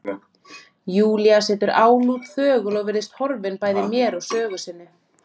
Júlía situr álút, þögul, virðist horfin bæði mér og sögu sinni.